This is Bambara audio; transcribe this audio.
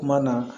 Kuma na